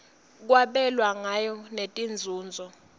kwabelwa ngayo netinzunzo